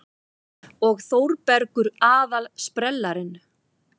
Og Þórbergur aðal-sprellarinn.